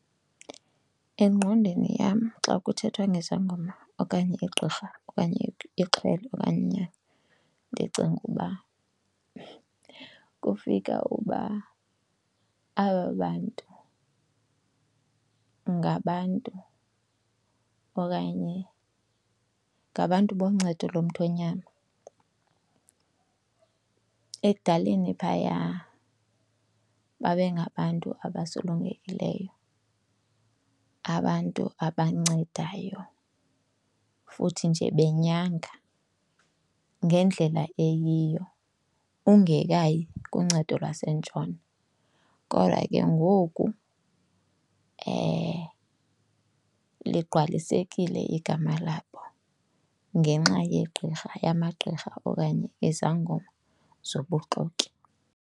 Engqondweni yam xa kuthethwa ngesangoma okanye igqirha okanye ixhwele okanye inyanga, ndicinga uba kufika uba aba bantu ngabantu okanye ngabantu boncedo lomthonyama. Ekudaleni phaya babe ngabantu abasulungekileyo, abantu abancedayo, futhi nje benyanga ngendlela eyiyo ungekayi kuncedo lwaseNtshona. Kodwa ke ngoku liqqwalisekile igama labo ngenxa yegqirha, yamagqirha okanye izangoma zobuxoki.